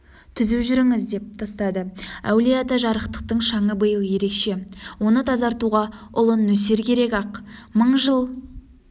түзу жүріңіз деп тастады әулие-ата жарықтықтың шаңы биыл ерекше оны тазартуға ұлы нөсер керек-ақ мың жыл